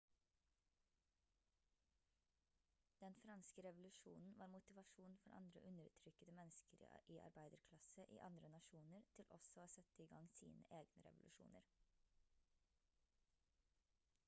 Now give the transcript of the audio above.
den franske revolusjonen var motivasjon for andre undertrykkede mennesker i arbeiderklasse i andre nasjoner til også å sette i gang sine egne revolusjoner